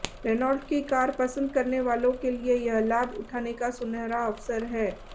Renault की car पसंद करने वालों के लिए यह लाभ उठाने का सुनहरा अवसर है